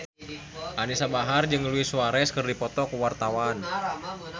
Anisa Bahar jeung Luis Suarez keur dipoto ku wartawan